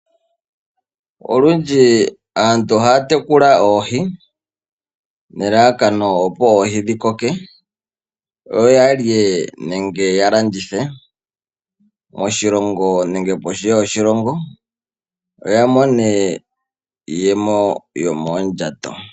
Olundji aantu ohaya tekula oohi nelalakano opo oohi dhi koke, yo ya lye nenge ya landithe moshilongo nenge pondje yoshilongo. Yo ya mone iiyemo yo moondjato.